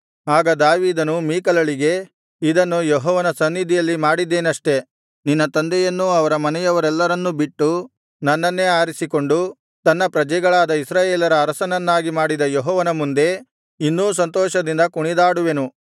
ಆಗ ದಾವೀದನು ಮೀಕಲಳಿಗೆ ಇದನ್ನು ಯೆಹೋವನ ಸನ್ನಿಧಿಯಲ್ಲಿ ಮಾಡಿದ್ದೇನಷ್ಟೇ ನಿನ್ನ ತಂದೆಯನ್ನೂ ಅವರ ಮನೆಯವರೆಲ್ಲರನ್ನೂ ಬಿಟ್ಟು ನನ್ನನ್ನೇ ಆರಿಸಿಕೊಂಡು ತನ್ನ ಪ್ರಜೆಗಳಾದ ಇಸ್ರಾಯೇಲರ ಅರಸನನ್ನಾಗಿ ಮಾಡಿದ ಯೆಹೋವನ ಮುಂದೆ ಇನ್ನೂ ಸಂತೋಷದಿಂದ ಕುಣಿದಾಡುವೆನು